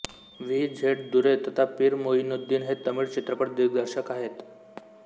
V Z Durai तथा पीर मोइनुद्दीन हे तमिळ चित्रपट दिग्दर्शक आहेत